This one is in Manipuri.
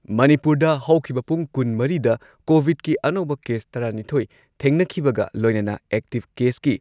ꯃꯅꯤꯄꯨꯔꯗ ꯍꯧꯈꯤꯕ ꯄꯨꯡ ꯀꯨꯟꯃꯔꯤꯗ ꯀꯣꯚꯤꯗꯀꯤ ꯑꯅꯧꯕ ꯀꯦꯁ ꯇꯔꯥꯅꯤꯊꯣꯏ ꯊꯦꯡꯅꯈꯤꯕꯒ ꯂꯣꯏꯅꯅ ꯑꯦꯛꯇꯤꯚ ꯀꯦꯁꯀꯤ